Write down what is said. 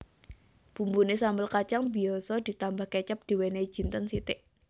Bumbuné sambel kacang biasa ditambah kecap diwènèhi jinten sithik